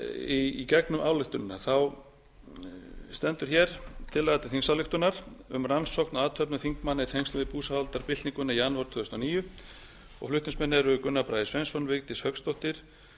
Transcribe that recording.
í gegnum ályktunina stendur hér tillaga til þingsályktunar um rannsókn á athöfnum þingmanna í tengslum við búsáhaldabyltinguna í janúar tvö þúsund og níu flutningsmenn eru gunnar bragi sveinsson vigdís hauksdóttir